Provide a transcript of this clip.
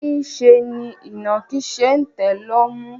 Niṣẹ́ ni ìnàkí ṣe ń tẹ̀ lọ́mú.